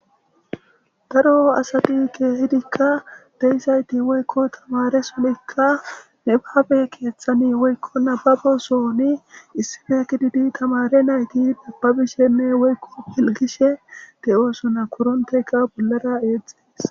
Haro asati keehidikka deysayti woykko tamare sonikka nebabe keeththani woykko nababo sooni issife kididi tamare nayti dabbabishenne woykko hilgishe de'oosona kuronteka bollara eexxees.